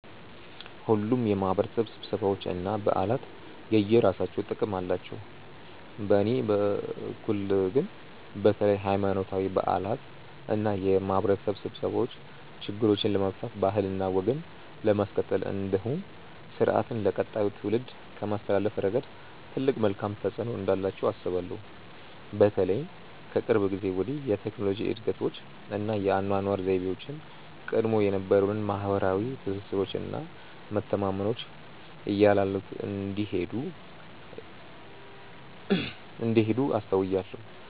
ሁሉም የማህበረሰብ ስብሰባዎች እና በዓላት የየራሳቸው ጥቅም አላቸው። በእኔ በኩል ግን በተለይ ሀይማኖታዊ በዓላት እና የማህበረሰብ ስብሰባዎች ችግሮችን ለመፍታት ባህልና ወግን ለማስቀጠል እንዲሁም ስርአትን ለቀጣዩ ትውልድ ከማስተላለፍ ረገድ ትልቅ መልካም ተፆዕኖ እንዳላቸው አስባለሁ። በተለይም ከቅርብ ጊዜ ወዲህ የቴክኖሎጂ እድገቶች እና የአኗኗር ዘይቤያችን ቀድሞ የነበሩንን ማህበረሰባዊ ትስስሮች እና መተማመኖች እያላሉት እንደሄዱ አስተውያለሁ።